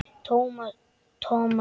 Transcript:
Thomas Lang